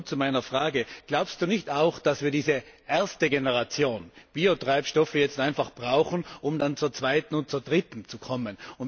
Aber nun zu meiner Frage Glaubst du nicht auch, dass wir diese erste Generation Biotreibstoffe jetzt einfach brauchen, um dann zur zweiten und zur dritten zu kommen.